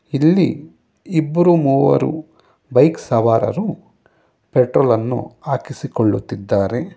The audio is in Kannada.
ಇಲ್ಲಿ ಇಬ್ಬರು ಮೂವರು ಬೈಕ್ ಸವಾರರು ಪೆಟ್ರೋಲ್ ಅನ್ನು ಹಾಕಿಸಿಕೊಳ್ಳುತ್ತಿದ್ದಾರೆ.